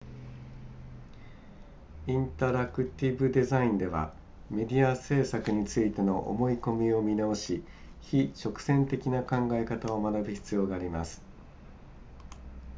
インタラクティブデザインではメディア制作についての思い込みを見直し非直線的な考え方を学ぶ必要があります